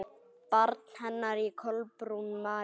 Barn hennar er Kolbrún María.